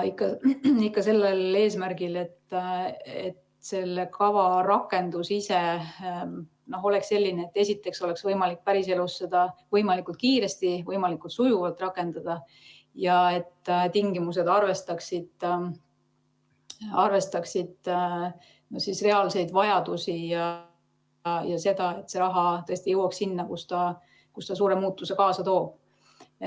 Ikka sellel eesmärgil, et selle kava rakendus ise oleks selline, et oleks võimalik päriselus seda võimalikult kiiresti ja võimalikult sujuvalt rakendada ning tingimused arvestaksid reaalseid vajadusi ja seda, et see raha tõesti jõuaks sinna, kus ta suure muutuse kaasa toob.